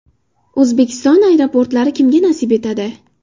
O‘zbekiston aeroportlari kimga nasib etadi?